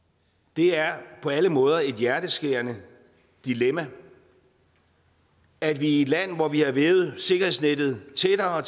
det er på alle måder et hjerteskærende dilemma at vi i et land hvor vi har vævet sikkerhedsnettet tættere